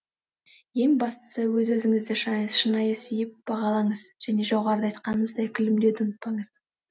ең бастысы өз өзіңізді шынайы сүйіп бағалаңыз және жоғарыда айтқанымыздай күлімдеуді ұмытпаңыз